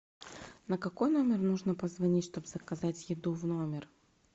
на какой номер нужно позвонить чтобы заказать еду в номер